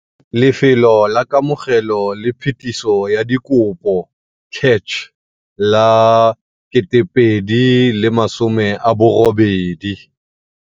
Lefelo la Kamogelo le Phetiso ya Dikopo, CACH, la 2018